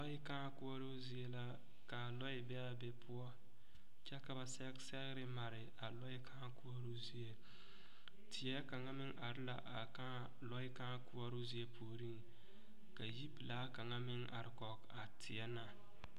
Lɔɛ kãã koɔroo zie la k,a lɔɛ be be poɔ kyɛ ka ba sɛge sɛgre mare a lɔɛ kãã koɔroo zie teɛ kaŋa meŋ are la a kãã lɔɛ kãã koɔroo zie puoriŋ ka yipelaa kaŋa meŋ are kɔge a teɛ na.